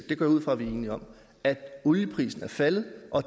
det går jeg ud fra at vi er enige om at olieprisen er faldet og